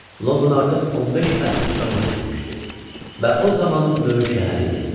London artıq 15 əsr ömür sürmüşdü və o zamanın böyük şəhəri idi.